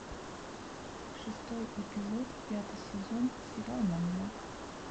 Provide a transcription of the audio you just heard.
шестой эпизод пятый сезон сериал маньяк